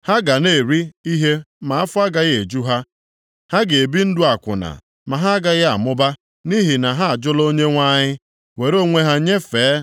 “Ha ga na-eri ihe ma afọ agaghị eju ha. Ha ga-ebi ndụ akwụna ma ha agaghị amụba, nʼihi na ha ajụla Onyenwe anyị, were onwe ha nyefee